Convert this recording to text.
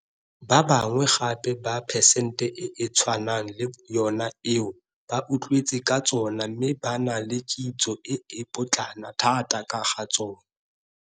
Ba bangwe gape ba phesente e e tshwanang le yona eo ba utlwetse ka tsona mme ba na le kitso e e potlana thata ka ga tsona.